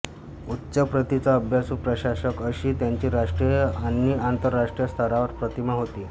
उच्च प्रतीचा अभ्यासू प्रशासक अशी त्यांची राष्ट्रीय आणि आंतरराष्ट्रीय स्तरावर प्रतिमा होती